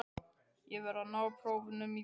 Ég verð að ná prófunum í vor.